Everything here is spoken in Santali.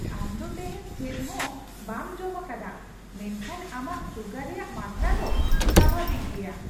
ᱟᱢ ᱫᱚ ᱛᱮᱦᱮᱧ ᱪᱮᱫ ᱦᱚᱸ ᱵᱟᱢ ᱡᱚᱢ ᱟᱠᱟᱫᱟ ᱢᱮᱱᱠᱷᱟᱱ ᱟᱢᱟᱜ ᱥᱩᱜᱟᱨ ᱨᱮᱭᱟᱜ ᱢᱟᱛᱨᱟ ᱫᱚ ᱥᱟᱵᱷᱟᱵᱤᱠ ᱜᱮᱭᱟ !